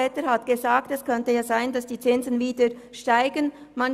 Etter hat bereits darauf hingewiesen, dass das Zinsniveau wieder steigen könnte.